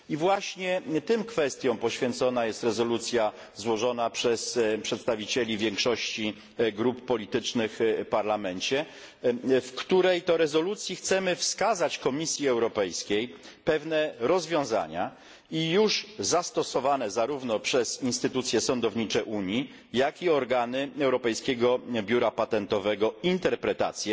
Właśnie tym kwestiom poświęcona jest rezolucja złożona przez przedstawicieli większości grup politycznych w Parlamencie, w której to rezolucji chcemy wskazać Komisji Europejskiej pewne rozwiązania i już zastosowane, zarówno przez instytucje sądownicze Unii, jak i organy Europejskiego Biura Patentowego, interpretacje